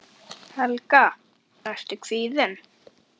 Helga: Ertu kvíðinn?